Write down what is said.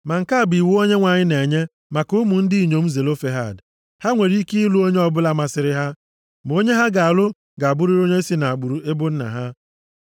Ma nke a bụ iwu Onyenwe anyị na-enye maka ụmụ ndị inyom Zelofehad. Ha nwere ike ịlụ onye ọbụla masịrị ha, ma onye ha ga-alụ ga-abụrịrị onye si nʼagbụrụ ebo nna ha.